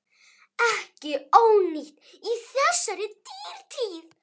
Ekki ónýtt í þessari dýrtíð.